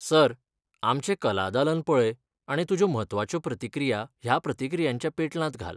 Sir, आमचे कला दालन पळय आनी तुज्यो म्हत्वाच्यो प्रतिक्रिया ह्या प्रतिक्रियांच्या पेटलांत घाल.